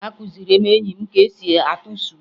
Akụziri m enyi m ka esi atụ sụwé